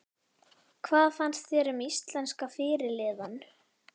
Hvað fannst þér um íslenska fyrirliðann?